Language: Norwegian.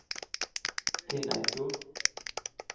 Finneidfjord